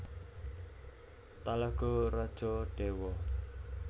Talago Rajo Dewa